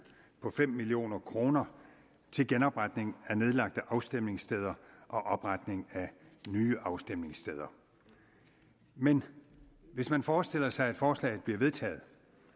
på fem million kroner til genopretning af nedlagte afstemningssteder og opretning af nye afstemningssteder men hvis man forestiller sig at forslaget bliver vedtaget